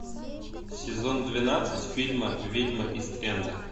сезон двенадцать фильма ведьмы ист энда